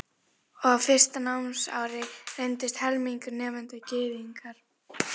Og á fyrsta námsári reyndist um helmingur nemenda Gyðingar.